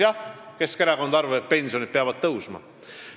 Jah, Keskerakond arvab, et pensionid peavad tõusma.